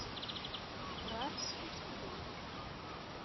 пражский студент